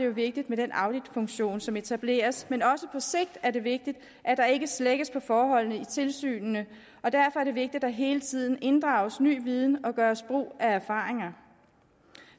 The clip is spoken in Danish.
vigtigt med den auditfunktion som etableres men også på sigt er det vigtigt at der ikke slækkes på forholdene i tilsynene og derfor er det vigtigt at der hele tiden inddrages ny viden og gøres brug af erfaringer